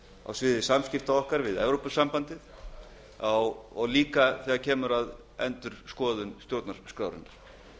á sviði samskipta okkar við evrópusambandið og líka þegar kemur að endurskoðun stjórnarskrárinnar